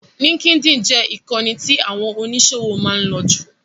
LinkedIn jẹ ìkànì tí àwọn oníṣòwò máa ń lò jù.